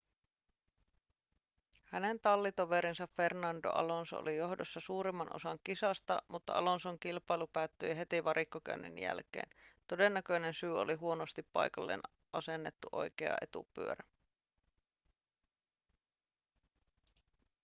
hänen tallitoverinsa fernando alonso oli johdossa suurimman osan kisasta mutta alonson kilpailu päättyi heti varikkokäynnin jälkeen todennäköinen syy oli huonosti paikalleen asennettu oikea etupyörä